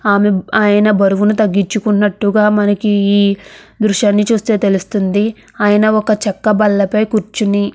ఆమె ఆయన బరువును తగ్గించుకున్నట్టుగా మనకి ఈ దృశ్యాన్ని చూస్తే తెలుస్తుంది. ఆయన ఒక చెక్క బల్లపై కూర్చుని --